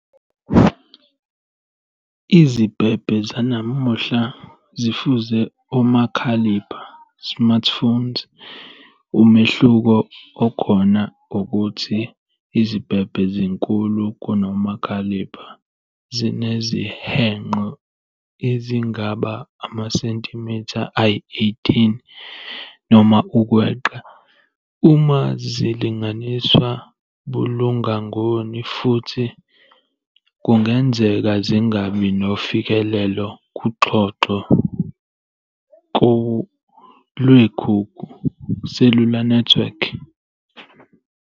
Izibhebhe zanamuhla zifuze omakhalipha "smartphones", umehluko okhona owokuthi izibhebhe zinkulu kunomakhalipha, zinezihenqo ezingaba amacentimitha ayi-18 noma ukweqa, uma zilinganiswa bulungangoni, futhi kungenzeka zingabi nofikelelo kuxhoxho lwekhukhu "cellular network".